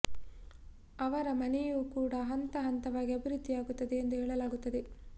ಅವರ ಮನೆಯೂ ಕೂಡ ಹಂತ ಹಂತವಾಗಿ ಅಭಿವೃದ್ಧಿ ಯಾಗುತ್ತದೆ ಎಂದು ಹೇಳಲಾಗುತ್ತದೆ